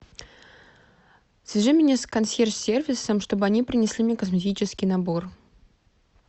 свяжи меня с консьерж сервисом чтобы они принесли мне косметический набор